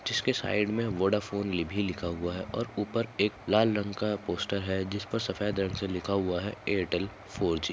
जिसके साइक मे वोडाफ़ोन ये भी लिखा हुआ है और ऊपर एक लाल रंग का पोस्टर है जिसपे सफ़ेद रंग से लिखा हुआ है एयरटेल फोर जी।